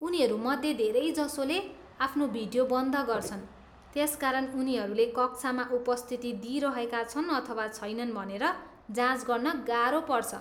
उनीहरू मध्ये धेरैजसोले आफ्नो भिडियो बन्द गर्छन्, त्यसकारण उनीहरूले कक्षामा उपस्थिति दिइरहेका छन् अथवा छैनन् भनेर जाँच गर्न गाह्रो पर्छ।